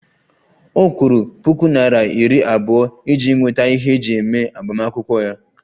Ọ kwụrụ puku naira iri abụọ iji nweta ihe eji eme agbamakwụkwọ ya